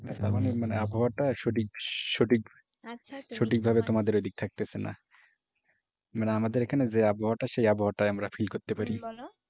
মানে আবহাওয়াটা সঠিক সঠিক সঠিকভাবে তোমাদের ওদিকে থাকতেছেনা। মানে আমাদের এখানে যে আবহাওয়াটা সেই আবহাওয়াটাই আমরা feel করতে পারি।